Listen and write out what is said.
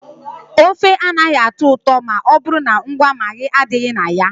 Ofe anaghị atọ ụtọ ma ọ bụrụ na ngwa Maagị adịghị na ya.